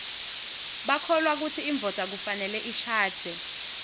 bakholwa kutsi indvodza kufanele ishadze